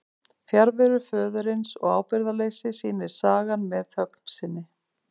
Fjarveru föðurins og ábyrgðarleysi sýnir sagan með þögn sinni.